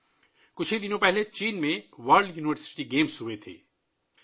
چند روز قبل چین میں ورلڈ یونیورسٹی گیمز کا انعقاد ہوا